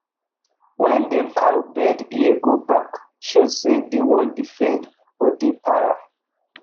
wen dem cow bend ear go back show say dey wan defend or dey para